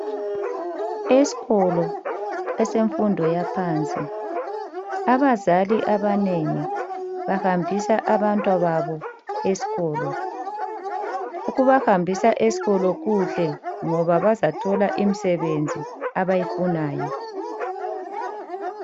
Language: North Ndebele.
Esikolo esemfundo yaphansi abazali abanengi bahambisa abantwababo esikolo. Ukubahambisa esikolo kuhle ngoba bazathola imisebenzi abayifunayo.